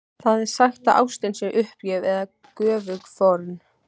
Það er sagt að ástin sé uppgjöf eða göfug fórn.